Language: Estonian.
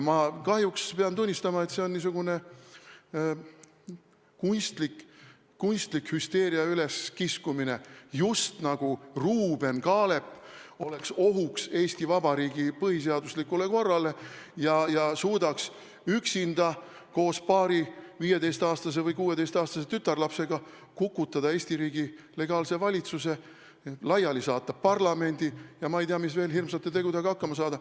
Ma kahjuks pean tunnistama, et see on niisugune kunstlik hüsteeria üleskiskumine: Ruuben Kaalep oleks just nagu ohuks Eesti Vabariigi põhiseaduslikule korrale ja suudaks üksinda, koos paari 15- või 16-aastase tütarlapsega kukutada Eesti riigi legaalse valitsuse, laiali saata parlamendi ja ma ei tea mis veel hirmsate tegudega hakkama saada.